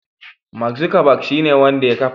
Mark Zuckerberg shine wanda ya kafa.